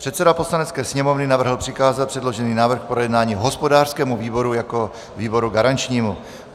Předseda Poslanecké sněmovny navrhl přikázat předložený návrh k projednání hospodářskému výboru jako výboru garančnímu.